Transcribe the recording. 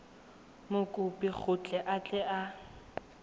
mokopi gore a tle a